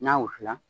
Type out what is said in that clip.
N'a wusu la